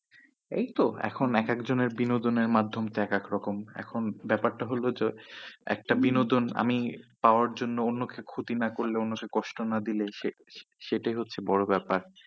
এইতো এখন এক একজনের বিনোদনের মাধ্যম একেকরকম। এখন ব্যাপার টা হল যে, একটা বিনোদন আমি পাওয়ার জন্য অন্যকে ক্ষতি না করলে অন্য কে কষ্ট না দিলে সে সেটাই হচ্ছে বড়ো ব্যাপার।